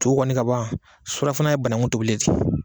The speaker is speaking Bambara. To kɔni ka ban surafana ye banakun tobili